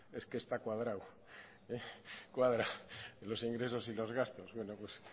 es que está cuadrado es que cuadra los ingresos y los gastos bueno pues